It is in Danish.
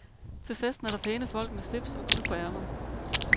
Til festen er der pæne folk med slips og guld på ærmerne.